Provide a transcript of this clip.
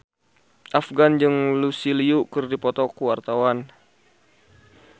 Afgan jeung Lucy Liu keur dipoto ku wartawan